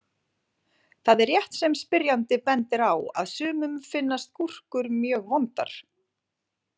Það er rétt sem spyrjandi bendir á að sumum finnast gúrkur mjög vondar.